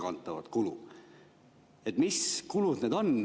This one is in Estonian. Mis kulud need on?